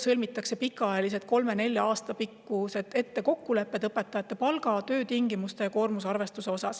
Sõlmitakse pikaajalised kokkulepped, kolme-nelja aasta peale ette õpetajate palga, töötingimuste ja koormusarvestuse kohta.